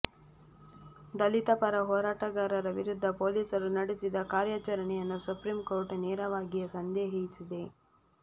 ದಲಿತ ಪರ ಹೋರಾಟಗಾರರ ವಿರುದ್ಧ ಪೊಲೀಸರು ನಡೆಸಿದ ಕಾರ್ಯಾಚರಣೆಯನ್ನು ಸುಪ್ರೀಂಕೋರ್ಟ್ ನೇರವಾಗಿಯೇ ಸಂದೇಹಿಸಿದೆ